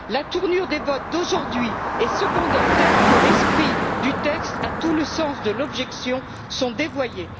La tournure des votes d'aujourd'hui est cependant telle que l'esprit du texte et tout le sens de l'objection sont dévoyés.